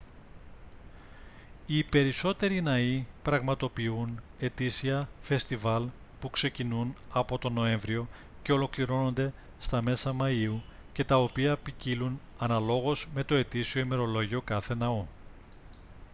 οι περισσότεροι ναοί πραγματοποιούν ετήσια φεστιβάλ που ξεκινούν από τον νοέμβριο και ολοκληρώνονται στα μέσα μαΐου και τα οποία ποικίλλουν αναλόγως με το ετήσιο ημερολόγιο κάθε ναού